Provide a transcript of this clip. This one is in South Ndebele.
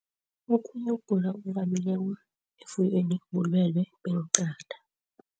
Okhunye ukugula okuvamileko efuyweni bulwelwe beenqatha.